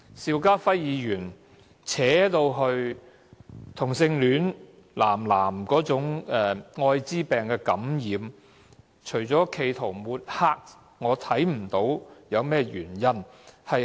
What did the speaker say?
邵家輝議員把《條例草案》的辯論延伸至男同性戀者的愛滋病感染率，除了企圖抹黑，我看不到有甚麼原因。